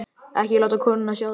Ekki láta konuna sjá það.